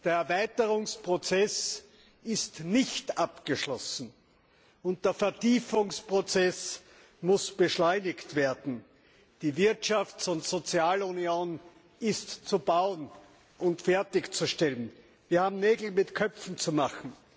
Der Erweiterungsprozess ist nicht abgeschlossen, und der Vertiefungsprozess muss beschleunigt werden. Die Wirtschafts und Sozialunion ist zu bauen und fertigzustellen. Wir haben Nägel mit Köpfen zu machen.